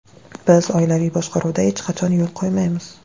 Biz oilaviy boshqaruvga hech qachon yo‘l qo‘ymaymiz!